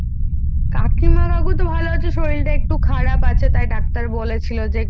কাকিমা কাকু ভালো আছে শরীরটা একটু খারাপ আছে ,তাই ডাক্তার তাই ডাক্তার বলেছিলো যে